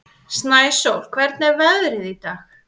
Snæsól, hvernig er veðrið í dag?